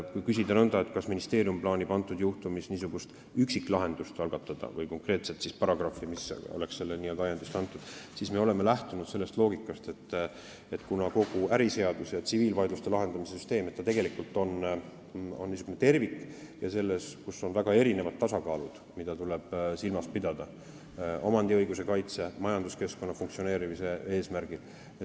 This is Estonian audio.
Kui küsida nõnda, kas ministeerium plaanib selle juhtumi tõttu üksiklahendust algatada või koostada konkreetset paragrahvi, mis oleks n-ö sellest ajendist kantud, siis me oleme lähtunud sellest loogikast, et kogu äriseadustik ja tsiviilvaidluste lahendamise süsteem on tervik ja seal tuleb silmas pidada mitut liiki tasakaalu .